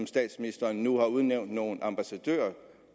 statsministeren udnævnt nogle ambassadører